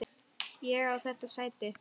Ég á þetta sæti!